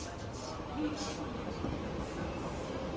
bliver bliver bliver